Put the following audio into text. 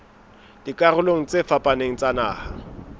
dikarolong tse fapaneng tsa naha